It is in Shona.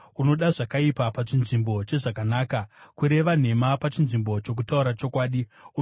Unoda zvakaipa pachinzvimbo chezvakanaka, kureva nhema pachinzvimbo chokutaura chokwadi. Sera